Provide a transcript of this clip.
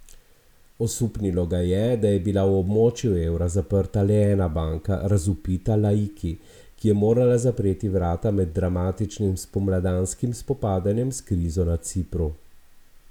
Osupnilo ga je, da je bila v območju evra zaprta le ena banka, razvpita Laiki, ki je morala zapreti vrata med dramatičnim spomladanskim spopadanjem s krizo na Cipru.